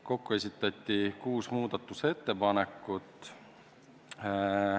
Kokku esitati kuus ettepanekut.